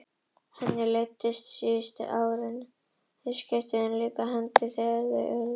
Henni leiddist síðustu árin, þráði umskiptin og tók þeim líka fegins hendi þegar þau urðu.